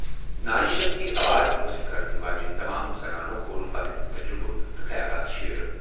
ناری Shakti award حٲصِل کرن واجٮ۪ن تمام زنانَو کوٚر پنٕنۍ تجرُبہٕ تہٕ خیالات شیئرٕ۔